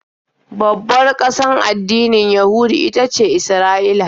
Babbar ƙasar addinin Yahudu ita ce Isra'ila.